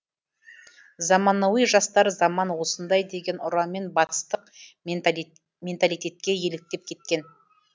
заманауи жастар заман осындай деген ұранмен батыстық менталитетке еліктеп кеткен